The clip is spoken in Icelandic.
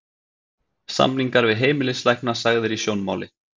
Samningar við heimilislækna sagðir í sjónmáli